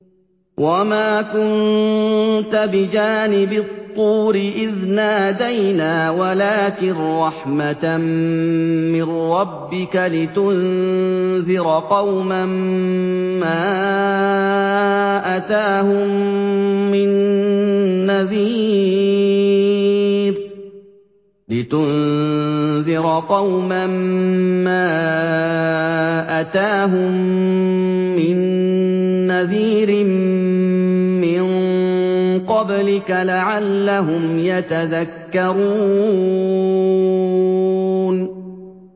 وَمَا كُنتَ بِجَانِبِ الطُّورِ إِذْ نَادَيْنَا وَلَٰكِن رَّحْمَةً مِّن رَّبِّكَ لِتُنذِرَ قَوْمًا مَّا أَتَاهُم مِّن نَّذِيرٍ مِّن قَبْلِكَ لَعَلَّهُمْ يَتَذَكَّرُونَ